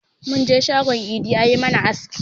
Mun je shagon idi ya yi mana aski.